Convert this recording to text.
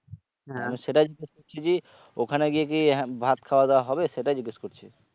সেটাই যে ওখানে গিয়ে কি হ্যাঁ ভাত খাওয়া দাওয়া হবে সেটাই জিজ্ঞেস করছি